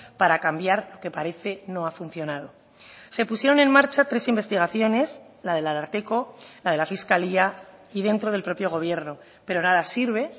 para cambiar que parece no ha funcionado se pusieron en marcha tres investigaciones la del ararteko la de la fiscalía y dentro del propio gobierno pero nada sirve